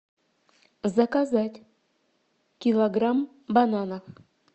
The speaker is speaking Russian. заказать килограмм бананов